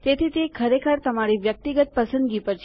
તેથી તે ખરેખર તમારી વ્યક્તિગત પસંદગી પર છે